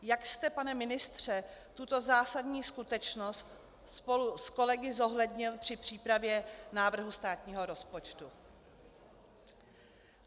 Jak jste, pane ministře, tuto zásadní skutečnost spolu s kolegy zohlednil při přípravě návrhu státního rozpočtu?